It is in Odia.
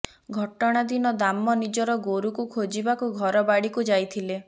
ଘଟଣା ଦିନ ଦାମ ନିଜର ଗୋରୁକୁ ଖୋଜିବାକୁ ଘର ବାଡିକୁ ଯାଇଥିଲେ